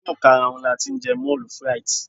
inu ikaraun ni a ti n je moule frite